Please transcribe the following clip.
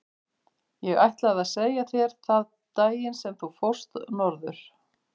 Ég ætlaði að segja þér það daginn sem þú fórst norður.